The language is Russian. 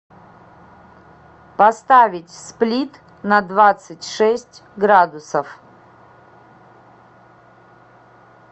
поставить сплит на двадцать шесть градусов